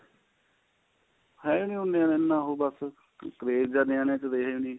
ਹੈ ਨੀਂ ਨਾ ਓ ਬੱਸ craze ਜਾ ਰਿਹਾ ਨੀ ਤਾਂ ਰਿਹਾ ਨੀਂ